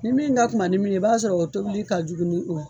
Ni min ka kunba nin min ye i b'a sɔrɔ o tobili ka jugu ni o ye.